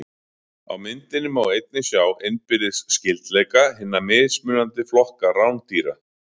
Á myndinni má einnig sjá innbyrðis skyldleika hinna mismunandi flokka rándýra.